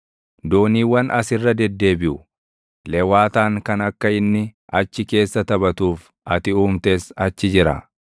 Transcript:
Dooniiwwan as irra deddeebiʼu; lewaataan kan akka inni achi keessa // taphatuuf ati uumtes achi jira.